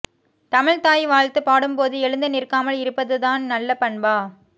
தமிழ் தாய்வாழ்த்து பாடும் போது எழுந்து நிற்காமல் இருப்பதுதான் நல்ல பண்பா